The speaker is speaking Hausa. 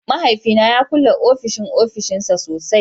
Mahaifina ya kulle ofishin ofishinsa sosai